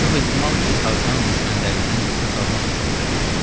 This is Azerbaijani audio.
Çox ehtimal ki, Tarzan düşmənlərindən qisas almaq üçün bura gəlirdi.